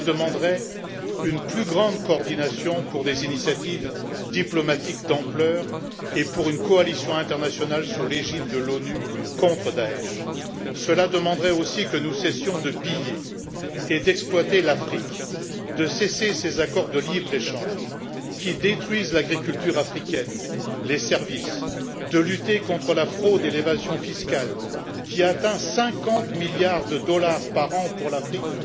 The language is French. Cela demanderait une plus grande coordination pour des initiatives diplomatiques de grande ampleur et pour une coalition internationale placée sous l'égide de l'ONU contre le groupe État islamique. Cela demanderait aussi de cesser de piller et d'exploiter l'Afrique, de mettre un terme aux accords de libre échange qui détruisent l'agriculture africaine et les services, et de lutter contre la fraude et l'évasion fiscale, qui atteignent 50 milliards de dollars par an pour l'Afrique!